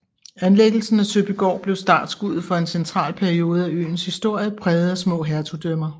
Anlæggelsen af Søbygård blev startskuddet for en central periode af øens historie præget af små hertugdømmer